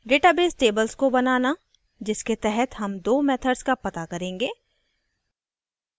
database tables को बनाना जिसके तहत हम दो methods का पता करेंगे